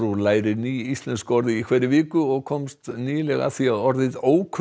lærir ný íslensk orð í hverri viku og komst nýlega að því að orðið